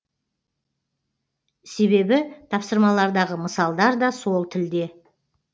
себебі тапсырмалардағы мысалдар да сол тілде